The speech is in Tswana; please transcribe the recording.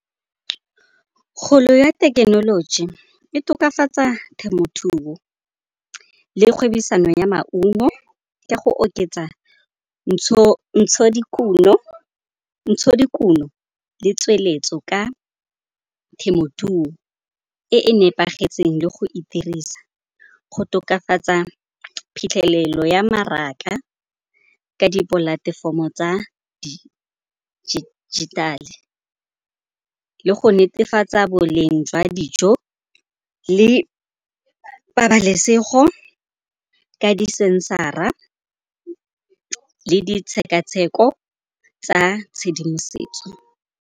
Kgolo ya thekenoloji e tokafatsa temothuo le kgwebisano ya maungo ka go oketsa ntshodikuno le tsweletso ka temothuo e nepagetseng le go itirisa. Go tokafatsa phitlhelelo ya mmaraka ka dipolatefomo tsa dijithale le go netefatsa boleng jwa dijo le pabalesego ka di sensara le ditshekatsheko tsa tshedimosetso.